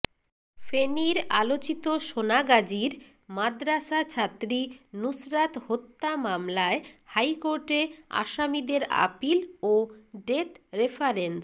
ফেনীর আলোচিত সোনাগাজীর মাদরাসাছাত্রী নুসরাত হত্যা মামলায় হাইকোর্টে আসামিদের আপিল ও ডেথ রেফারেন্স